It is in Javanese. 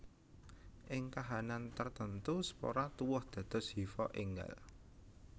Ing kahanan tartamtu spora tuwuh dados hifa énggal